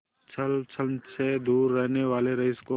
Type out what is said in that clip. छल छंद से दूर रहने वाले रईस को